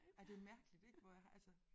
Ej det mærkeligt ik hvor jeg har altså